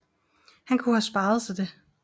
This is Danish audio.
Han kunne have sparet sig det